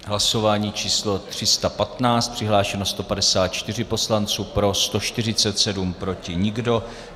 Hlasování číslo 315, přihlášeno 154 poslanců, pro 147, proti nikdo.